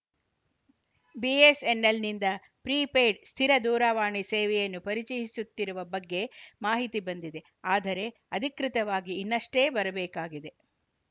ಬಿಎಸ್‌ಎನ್‌ಎಲ್‌ನಿಂದ prepaid ಸ್ಥಿರ ದೂರವಾಣಿ ಸೇವೆಯನ್ನು ಪರಿಚಯಿಸುತ್ತಿರುವ ಬಗ್ಗೆ ಮಾಹಿತಿ ಬಂದಿದೆ ಆದರೆ ಅಧಿಕೃತವಾಗಿ ಇನ್ನಷ್ಟೇ ಬರಬೇಕಾಗಿದೆ